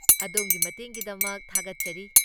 ꯑꯗꯣꯝꯒꯤ ꯃꯇꯦꯡꯒꯤꯗꯃꯛ ꯊꯥꯒꯠꯆꯔꯤ꯫